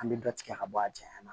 An bɛ dɔ tigɛ ka bɔ a cɛɲa